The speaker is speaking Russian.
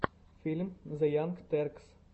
фильм зе янг теркс